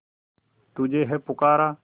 तुझे है पुकारा